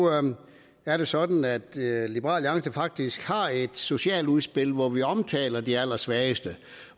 er det sådan at liberal alliance faktisk har et socialt udspil hvor vi omtaler de allersvageste